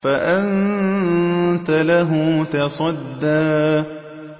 فَأَنتَ لَهُ تَصَدَّىٰ